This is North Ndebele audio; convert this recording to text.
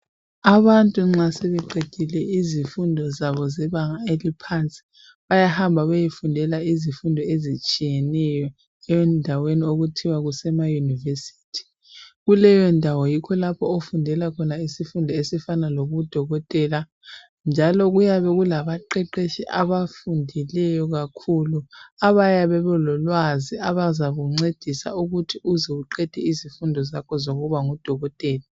Abantu nxa sebeqedile izifundo zabo zebanga eliphansi, bayahamba bayefundela izifundo ezitshiyeneyo endaweni okuthiwa kusema yunivesithi. Kukeyondawo yikho lapho okufundelwa khona isifundo esifana lobudokotela, njalo kuyabe kulabaqeqetshi abafundileyo kakhulu abayabe belolwazi, abazakuncedisa ukuthi uze uqede izifundo zakho zokuthi ube ngudokotela.